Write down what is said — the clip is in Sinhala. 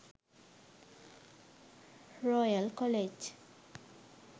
royal college